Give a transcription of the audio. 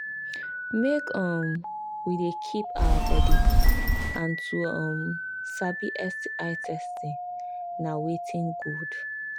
make um we they keep our body and to um sabi sti testing na watin good